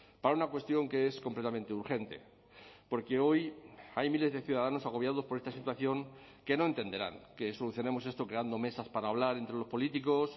para una cuestión que es completamente urgente porque hoy hay miles de ciudadanos agobiados por esta situación que no entenderán que solucionemos esto creando mesas para hablar entre los políticos